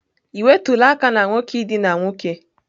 Ị nwetụla aka na nwoke idina nwoke?